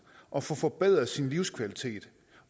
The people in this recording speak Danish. og få forbedret sin livskvalitet